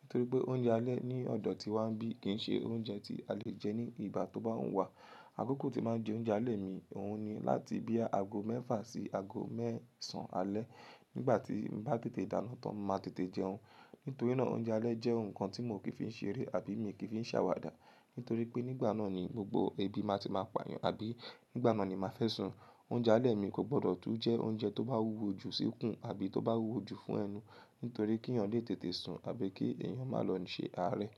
Nítorí pé oúnjẹ alẹ́ ní ọ̀dọ̀ tiwá nbí kìí ṣe oúnjẹ tí a lè jẹ ní ìgbà tó bá wù wá. Àkókò tí màá ń jẹ oúnjẹ alẹ́ mi òun ni láti bí àago mẹ́fà sí àago mẹ́sàn alẹ́. Nígbà tí n bá tètè dáná tán màá tètè jẹun. Nítorí náà oúnjẹ alẹ́ jẹ́ nǹkan tí mo kì fi ń ṣeré àbí mi kì í fi ń ṣàwàdà. Nítorí pé nígbà náà ni gbogbo ebi máa ti máa pà yàn àbí nígbà náà ni màá fẹ́ sùn. Oúnjẹ alẹ́ mi kò gbọdọ̀ tún jẹ́ oúnjẹ tó bá wúwo jù sikun àbí tó bá wúwo jù fún ẹnu. Nítorí kí èèyàn lè tètè sùn àbí kí èèyàn máa lọ ṣe àárẹ̀.